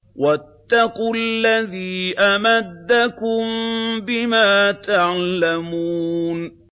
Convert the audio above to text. وَاتَّقُوا الَّذِي أَمَدَّكُم بِمَا تَعْلَمُونَ